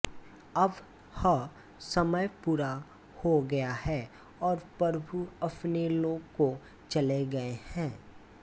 अब ह समय पूरा हो गया है और प्रभु अपने लोक को चले गये हैं